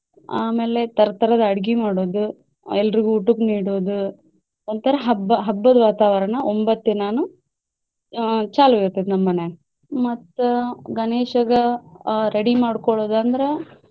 ಆಮೇಲೆ ತರ ತರದ ಅಡಗಿ ಮಾಡೋದು, ಎಲ್ರಿಗು ಊಟಕ್ಕ್ ನೀಡೋದ್, ಒಂತರಾ ಹಬ್ಬ ಹಬ್ಬದ ವಾತಾವರಣ ಒಂಬತ್ತ್ ದಿನಾನು ಆಹ್ ಚಾಲೂ ಇರ್ತೈತಿ ನಮ್ಮ ಮನ್ಯಾಗ. ಮತ್ತ ಗಣೇಶಗ ಆಹ್ ready ಮಾಡ್ಕೊಳ್ಳೊದು ಅಂದ್ರ.